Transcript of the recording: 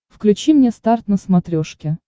включи мне старт на смотрешке